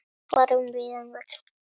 Fara um víðan völl.